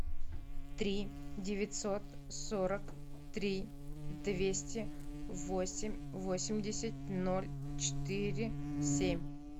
три девятьсот сорок три двести восемь восемьдесят ноль четыре семь